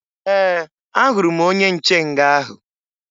Ee, ahụrụ m onye nche nga ahụ